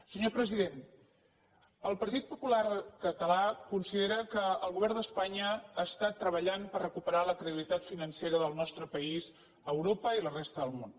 senyor president el partit popular català considera que el govern d’espanya està treballant per recuperar la credibilitat financera del nostre país a europa i a la resta del món